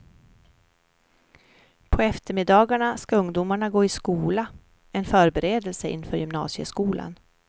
På eftermiddagarna ska ungdomarna gå i skola, en förberedelse inför gymnasieskolan.